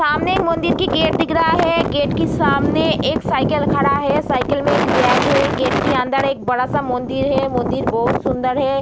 सामने एक मंदिर की गेट दिख रहा है गेट के सामने एक साइकिल खड़ा है साइकिल में एक बैग है गेट के अंदर एक बड़ा सा मंदिर है मंदिर बहुत सुन्दर है।